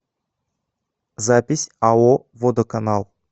запись ао водоканал